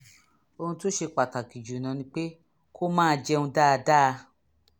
ohun tó ṣe pàtàkì jù ni pé kó máa jẹun dáadáa